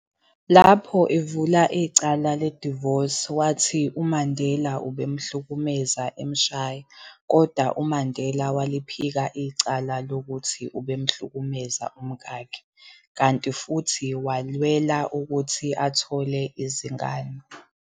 Lapho evula icala ledivosi, wathi uMandela ubemhlukumeza emshaya, kodwa uMandela waliphika icala lokuthi ubemhlukumeza umkakhe, kanti futhi walwela ukuthi athole izingane.